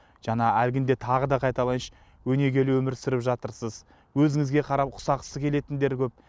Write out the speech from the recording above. жаңа әлгінде тағы да қайталайыншы өнегелі өмір сүріп жатырсыз өзіңізге қарап ұқсағысы келетіндер көп